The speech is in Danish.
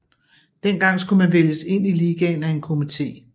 Dengang skulle man vælges ind i ligaen af en komité